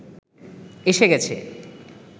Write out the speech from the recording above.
এসে গেছে